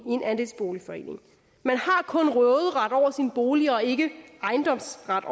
andelsboligforening man har kun råderet over sin bolig og ikke ejendomsret